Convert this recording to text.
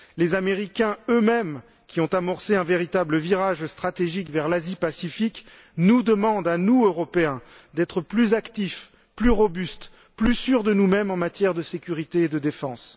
Les Américains eux mêmes, qui ont amorcé un véritable virage stratégique vers l'Asie Pacifique nous demandent à nous, Européens, d'être plus actifs, plus robustes, plus sûrs de nous mêmes en matière de sécurité et de défense.